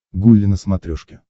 гулли на смотрешке